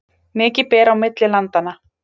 Mikið ber á milli landanna